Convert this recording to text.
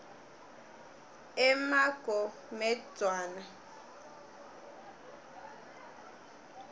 emagomedzwana